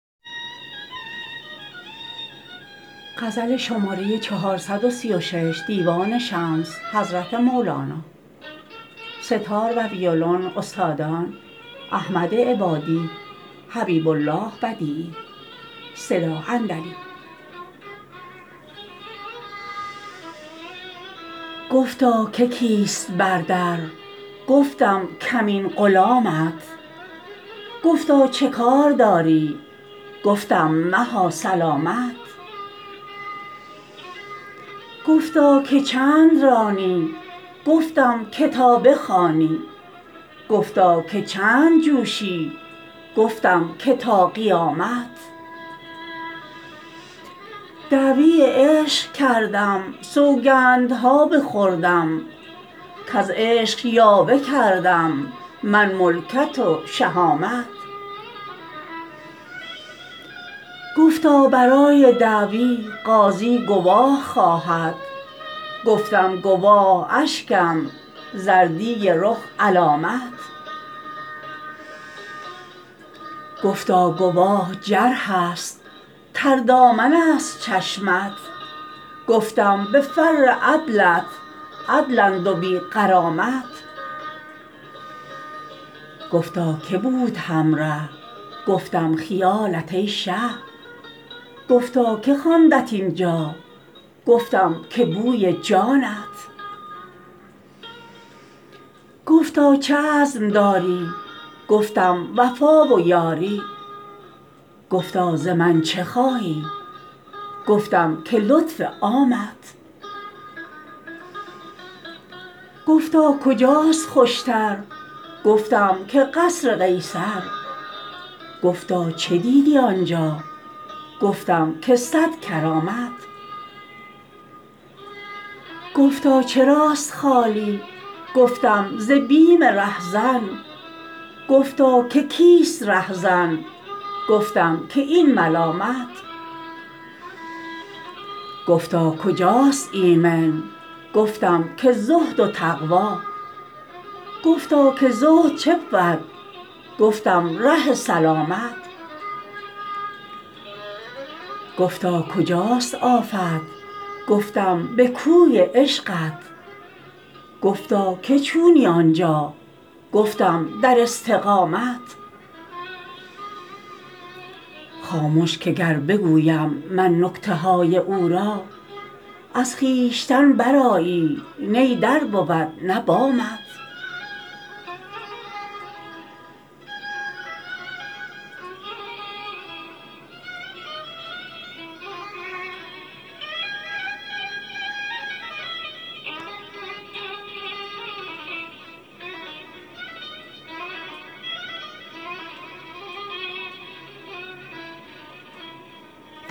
گفتا که کیست بر در گفتم کمین غلامت گفتا چه کار داری گفتم مها سلامت گفتا که چند رانی گفتم که تا بخوانی گفتا که چند جوشی گفتم که تا قیامت دعوی عشق کردم سوگند ها بخوردم کز عشق یاوه کردم من ملکت و شهامت گفتا برای دعوی قاضی گواه خواهد گفتم گواه اشکم زردی رخ علامت گفتا گواه جرحست تردامن ست چشمت گفتم به فر عدلت عدلند و بی غرامت گفتا که بود همره گفتم خیالت ای شه گفتا که خواندت این جا گفتم که بوی جامت گفتا چه عزم داری گفتم وفا و یاری گفتا ز من چه خواهی گفتم که لطف عامت گفتا کجاست خوش تر گفتم که قصر قیصر گفتا چه دیدی آنجا گفتم که صد کرامت گفتا چراست خالی گفتم ز بیم رهزن گفتا که کیست رهزن گفتم که این ملامت گفتا کجاست ایمن گفتم که زهد و تقوا گفتا که زهد چه بود گفتم ره سلامت گفتا کجاست آفت گفتم به کوی عشقت گفتا که چونی آن جا گفتم در استقامت خامش که گر بگویم من نکته های او را از خویشتن برآیی نی در بود نه بامت